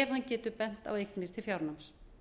ef hann getur bent á eignir til fjárnáms